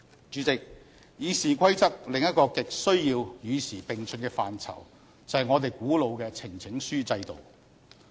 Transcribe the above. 主席，《議事規則》另一個亟需要與時並進的範疇，就是我們古老的呈請書制度。